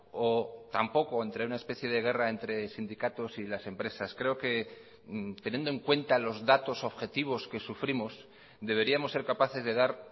o tampoco entre una especie de guerra entre sindicatos y las empresas creo que teniendo en cuenta los datos objetivos que sufrimos deberíamos ser capaces de dar